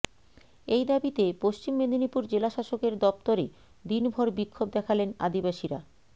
এই দাবিতে পশ্চিম মেদিনীপুর জেলাশাসকের দফতরে দিনভর বিক্ষোভ দেখালেন আদিবাসীরা